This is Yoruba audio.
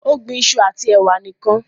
o gbìn iṣu ati ewa nìkàn